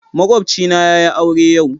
Makwabcina yayi aure yau.